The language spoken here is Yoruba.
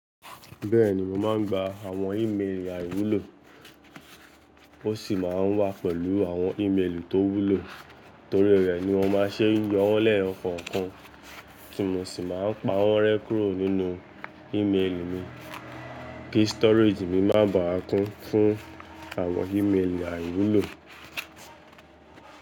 Bẹ́ẹ̀ni, mo máa ń gba àwọn í mélì àìwúlò, ó sì máa ń wá pẹ̀lú àwọn ímélì tó wúlò, torí rẹ̀ ni mọ́ máa ń ṣe yọ̀wọ́n lẹ̀yo kọ̀ọ̀kan tí mo sì máa ń pa wọ́n rẹ́ kúrò nínú ímélì mi kí storage mi má ba à kún fún àwọn ímélì àìwúlò.